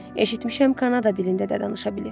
Eşitmişəm Kanada dilində də danışa bilir.